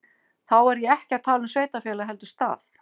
Þá er ég ekki að tala um sveitarfélag heldur stað.